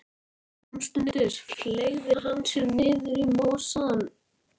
Samstundis fleygði hann sér niður í mosann.